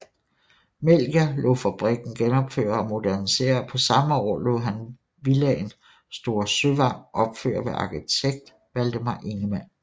Melchior lod fabrikken genopføre og modernisere og samme år lod han villaen Store Søvang opføre ved arkitekt Valdemar Ingemann